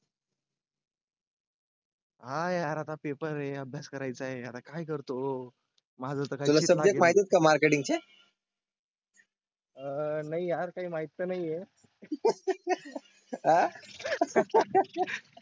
हाय आता पेपर हे अभ्यास करायचा आहे. आता काय करतो माझं काही? सब्जेक्ट माहिती आहेत का मार्केटिंगचे. आह नाही हा काही माहित. नाही ये.